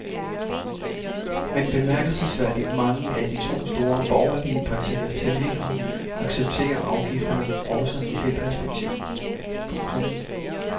Men bemærkelsesværdigt mange af de to store borgerlige partiers tilhængere accepterer afgifterne også i det perspektiv. punktum